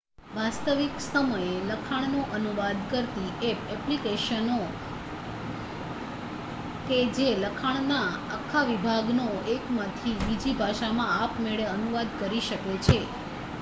વાસ્તવિક સમયે લખાણનો અનુવાદ કરતી ઍપ ઍપ્લિકેશનો કે જે લખાણના આખા વિભાગનો એકમાંથી બીજી ભાષામાં આપમેળે અનુવાદ કરી શકે છે